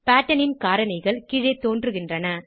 pattern ன் காரணிகள் கீழே தோன்றுகின்றன